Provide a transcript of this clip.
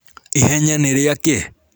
Ihenya nĩrĩakĩ?